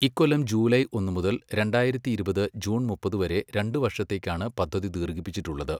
ഇക്കൊല്ലം ജൂലൈ ഒന്ന് മുതൽ രണ്ടായിരത്തി ഇരുപത് ജൂൺ മുപ്പത് വരെ രണ്ട് വർഷത്തേയ്ക്കാണ് പദ്ധതി ദീർഘിപ്പിച്ചിട്ടുള്ളത്.